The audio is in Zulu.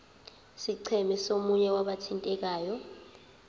scheme somunye wabathintekayo